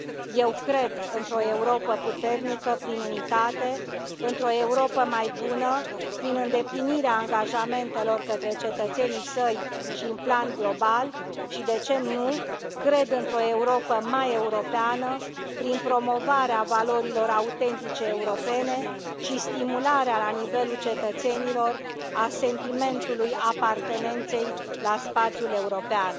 Eu cred într o Europă puternică, prin unitate, într o Europă mai bună, prin îndeplinirea angajamentelor către cetățenii săi și în plan global și, de ce nu, cred într o Europă mai europeană, prin promovarea valorilor autentice europene și stimularea la nivelul cetățenilor a sentimentului apartenenței la spațiul european.